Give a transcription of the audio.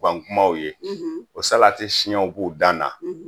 kumaw ye o salatisiɲɛw b'u dan na